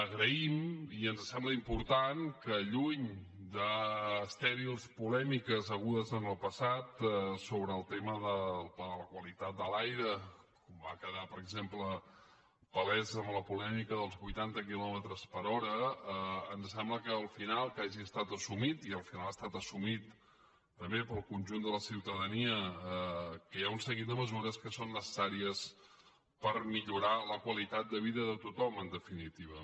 agraïm i ens sembla important que lluny d’estèrils polèmiques hagudes en el passat sobre el tema del pla de la qualitat de l’aire va quedar per exemple palès amb la polèmica dels vuitanta quilòmetres per hora ens sembla que al final hagi estat assumit i al final ha estat assumit també pel conjunt de la ciutadania que hi ha un seguit de mesures que són necessàries per millorar la qualitat de vida de tothom en definitiva